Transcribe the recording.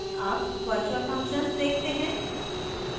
अब virtual functions देखते हैं